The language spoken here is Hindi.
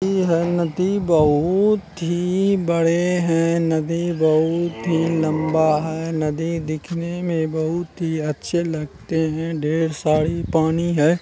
नदी है नदी बहुत ही बड़े है नदी बहुत ही लंबा है नदी दिखने मे बहुत ही अच्छे लगते है ढेर सारी पानी है।